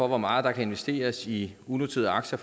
hvor meget der kan investeres i unoterede aktier